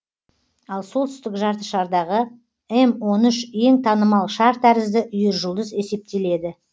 ал солтүстік жартышардағы м он үш ең танымал шар тәрізді үйіржұлдыз есептеледі